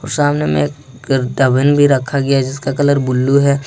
सामने में एक रखा गया है जिसका कलर बुल्लु है।